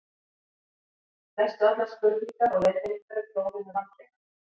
Lestu allar spurningar og leiðbeiningar í prófinu vandlega.